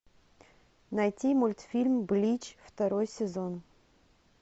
найти мультфильм блич второй сезон